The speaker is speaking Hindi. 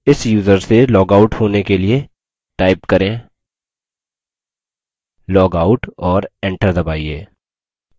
इस यूज़र से लॉग आउट होने के लिए type करें logout और enter दबाइए